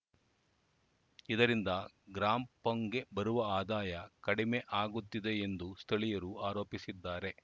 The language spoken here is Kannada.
ಇದರಿಂದ ಗ್ರಾಂ ಪಂಗೆ ಬರುವ ಆದಾಯ ಕಡಿಮೆ ಆಗುತ್ತಿದೆ ಎಂದು ಸ್ಥಳೀಯರು ಆರೋಪಿಸಿದ್ದಾರೆ